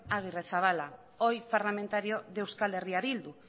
agirrezabala hoy parlamentario de euskal herria bildu